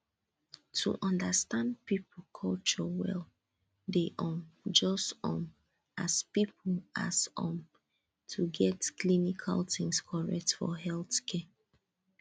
to understand people culture well dey um just um as important as um to get clinical things correct for healthcare